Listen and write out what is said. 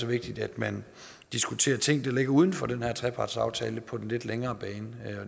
vigtigt at man diskuterer ting der ligger uden for den her trepartsaftale på den lidt længere bane